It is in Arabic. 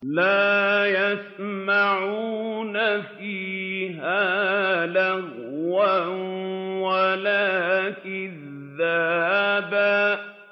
لَّا يَسْمَعُونَ فِيهَا لَغْوًا وَلَا كِذَّابًا